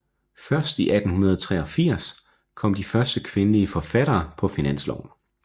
Først i 1883 kom de første kvindelige forfattere på finansloven